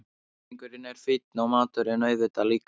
Peningurinn er fínn og maturinn auðvitað líka.